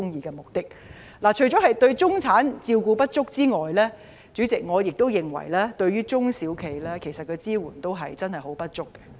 主席，除了對中產人士照顧不足外，我亦認為政府對中小型企業的支援也不足夠。